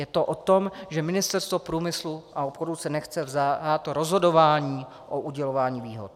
Je to o tom, že Ministerstvo průmyslu a obchodu se nechce vzdát rozhodování o udělování výhod.